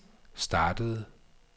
startede